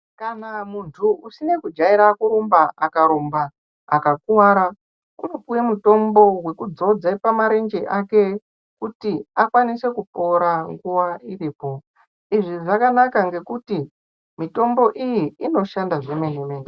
Kana muntu usine kujaira kurumba akarumba akakuvara unopuve mutombo vekudzodze pamarenje ake kuti akanise kupora nguva iripo. Izvi zvakanaka ngekuti mitombo iyi inoshanda zvemene-mene.